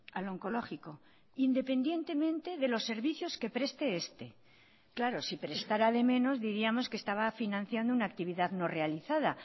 al oncológico independientemente de los servicios que preste este claro si prestara de menos diríamos que estaba financiando una actividad no realizada